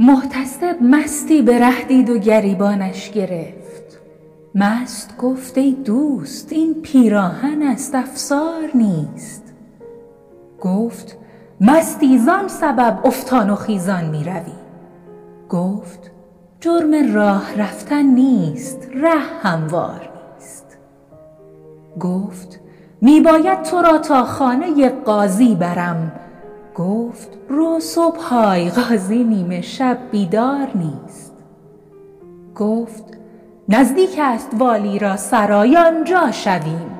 محتسب مستی به ره دید و گریبانش گرفت مست گفت ای دوست این پیراهن است افسار نیست گفت مستی زان سبب افتان و خیزان میروی گفت جرم راه رفتن نیست ره هموار نیست گفت می باید تو را تا خانه قاضی برم گفت رو صبح آی قاضی نیمه شب بیدار نیست گفت نزدیک است والی را سرای آنجا شویم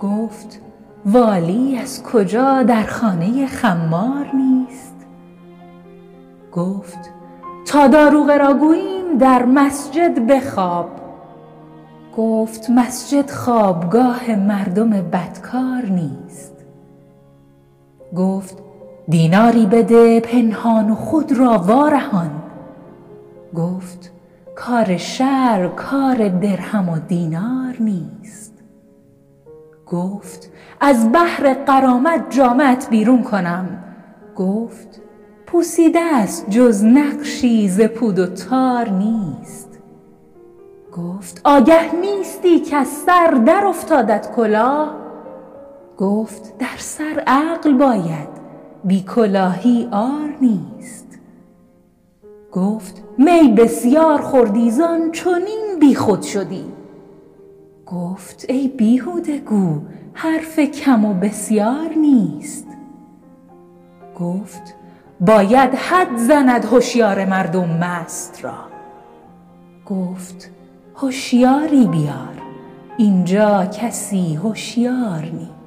گفت والی از کجا در خانه خمار نیست گفت تا داروغه را گوییم در مسجد بخواب گفت مسجد خوابگاه مردم بدکار نیست گفت دیناری بده پنهان و خود را وارهان گفت کار شرع کار درهم و دینار نیست گفت از بهر غرامت جامه ات بیرون کنم گفت پوسیده ست جز نقشی ز پود و تار نیست گفت آگه نیستی کز سر در افتادت کلاه گفت در سر عقل باید بی کلاهی عار نیست گفت می بسیار خوردی زان چنین بیخود شدی گفت ای بیهوده گو حرف کم و بسیار نیست گفت باید حد زند هشیار مردم مست را گفت هشیاری بیار اینجا کسی هشیار نیست